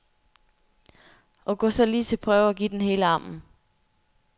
Og gå så lige til prøve, og give den hele armen.